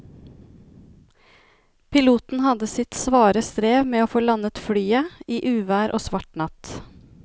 Piloten hadde sitt svare strev med å få landet flyet i uvær og svart natt.